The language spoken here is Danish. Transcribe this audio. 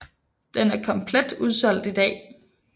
Den er komplet udsolgt i dag